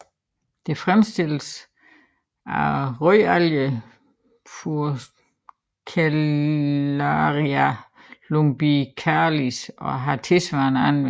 Det fremstilles fra rødalgen Furcellaria lumbicalis og har tilsvarende anvendelser